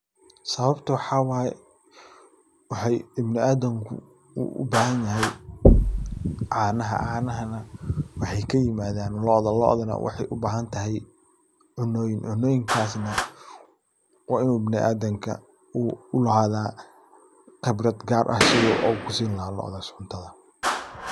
Sawabta waxa waye, waxay ibnuadamku u ubaxanyaxay, canaha canahana waxay kimadan looda, loodana waxay ubaxantaxay cunoyin, cunoyinkas na, wa inu ibnuadamka uu ulaxada qibrad gaar ah, si u kusini laxay looda cuntada.